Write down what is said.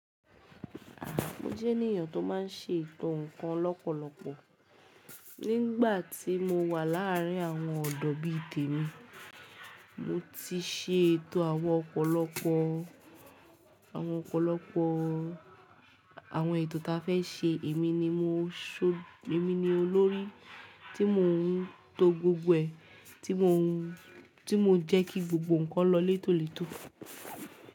Mo jẹ́ ènìyàn tó má ń ṣe ètò ǹkan lọ́pọ̀lọpọ̀. Nígbà tí mo wà láàrin àwọn ọ̀dọ́ bí i tèmi, mo ti ṣe ètò àwọn ọ̀pọ̀lọpọ̀, àwọn ọ̀pọ̀lọpọ̀ àwọn ètò ta fẹ́ ṣe èmi ni mo ṣo, èmi ni olórí tí mò ń to gbogbo ẹ̀, tí mò ń, tí mò ń jẹ́ kí gbogbo ǹkan lọ létòlètò.